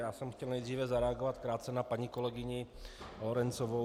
Já jsem chtěl nejdříve zareagovat krátce na paní kolegyni Lorencovou.